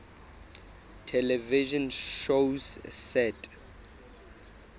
television shows set